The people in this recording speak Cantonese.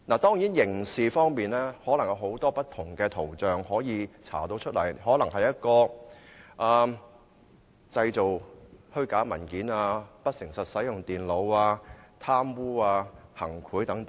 當然，可能會循不同方向進行刑事調查，涉及的罪行可以是製造虛假文件、不誠實使用電腦、貪污或行賄等。